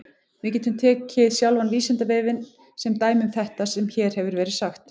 Við getum tekið sjálfan Vísindavefinn sem dæmi um þetta sem hér hefur verið sagt.